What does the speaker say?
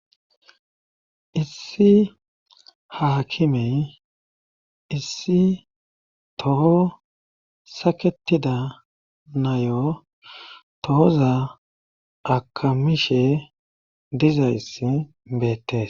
issi haakimey issi toho saketida nayo tooza akamishe dizayssi beettes